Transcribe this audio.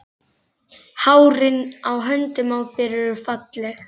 Hárin á höndunum á þér eru falleg.